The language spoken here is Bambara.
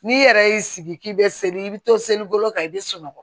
N'i yɛrɛ y'i sigi k'i bɛ seli i bɛ to selikolo kan i bɛ sunɔgɔ